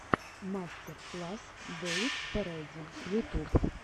мастер класс дэвид пэрэди ютуб